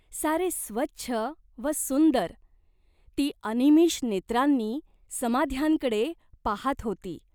सारे स्वच्छ व सुंदर, ती अनिमिष नेत्रांनी समाध्यांकडे पाहात होती.